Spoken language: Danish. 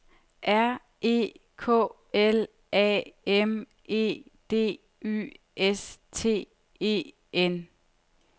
R E K L A M E D Y S T E N